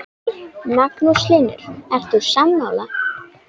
Magnús Hlynur: Ert þú sammála?